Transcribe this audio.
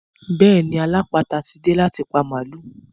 Bẹ́ẹ̀ni alápàáta tí dé láti pa màlúù.